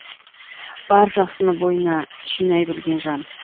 бар жақсыны бойына жинай білген жан